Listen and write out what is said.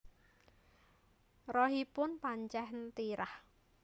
Rahipun pancen tirah